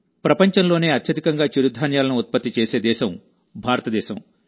ప్రపంచంలోనే అత్యధికంగా చిరుధాన్యాలను ఉత్పత్తి చేసే దేశం భారతదేశం